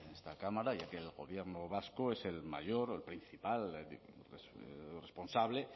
esta cámara ya que el gobierno vasco es el mayor o el principal responsable